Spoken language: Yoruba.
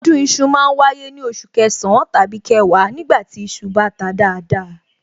Ọdún iṣu ma ń wáyé ní oṣù kẹsàn-án tàbí kẹwàá nígbà tí iṣu bá ta dáadáa